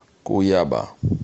куяба